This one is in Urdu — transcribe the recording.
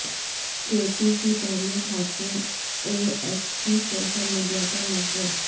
کے پی کی پہلی خاتون اےایس پی سوشل میڈیا پر مقبول